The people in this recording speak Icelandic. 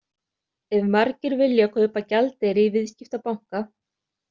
Ef margir vilja kaupa gjaldeyri í viðskiptabanka.